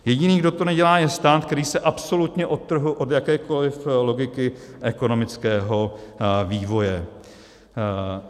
Jediný, kdo to nedělá, je stát, který se absolutně odtrhl od jakékoli logiky ekonomického vývoje.